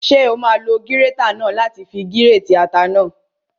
Ṣé o máa lo gírétà náà láti fi gírètì ata náà?